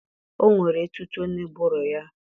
O nwere etuto n'ụbụrụ ya